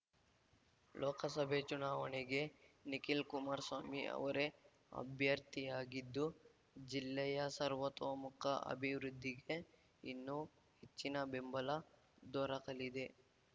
ಲೋಕಸಭೆ ಚುನಾವಣೆಗೆ ನಿಖಿಲ್ ಕುಮಾರಸ್ವಾಮಿ ಅವರೇ ಅಭ್ಯರ್ಥಿಯಾಗಿದ್ದು ಜಿಲ್ಲೆಯ ಸರ್ವತೋಮುಖ ಅಭಿವೃದ್ಧಿಗೆ ಇನ್ನೂ ಹೆಚ್ಚಿನ ಬೆಂಬಲ ದೊರಕಲಿದೆ